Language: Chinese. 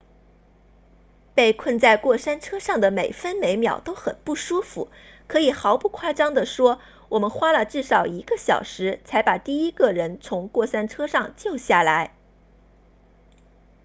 被困在过山车上的每分每秒都很不舒服可以毫不夸张地说我们花了至少一个小时才把第一个人从过山车上救下来